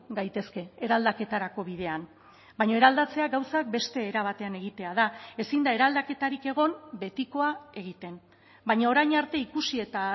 gaitezke eraldaketarako bidean baina eraldatzea gauzak beste era batean egitea da ezin da eraldaketarik egon betikoa egiten baina orain arte ikusi eta